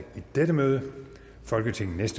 dette møde folketingets